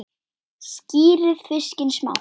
Skerið fiskinn smátt.